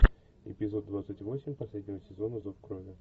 эпизод двадцать восемь последнего сезона зов крови